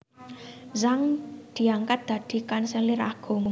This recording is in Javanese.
Zhang diangkat dadi kanselir agung